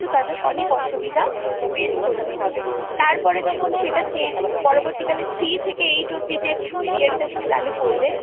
তাদের অনেক অসুবিধা Face করতে হবে তারপরে যখন সেটা চে পরবর্তী কালে Three থেকে Eight অবধি যে Period টা চালু করবে